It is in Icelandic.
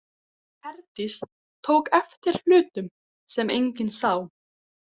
Herdís tók eftir hlutum sem enginn sá.